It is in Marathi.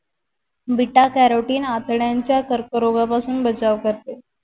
betacarotine आतड्यानच्या कर्क रोगा पासून बचाव करते